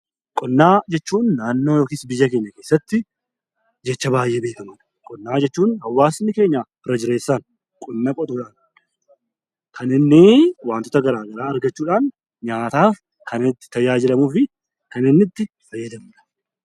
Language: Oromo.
Qonnaa jechuun naannoo yookiin biyya keenya keessatti jecha baay'ee beekamuu dha. Qonnaa jechuun hawaasni keenya irra jireessaan qonna qotuudhaan kan inni wantoota garaagaraa argachuudhaan nyaataaf kan itti tajaajilamuu fi kan inni itti fayyadamuu dha.